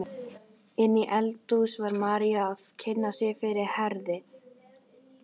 Inni í eldhúsi var María að kynna sig fyrir Herði.